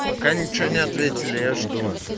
пока ничего не ответили я жду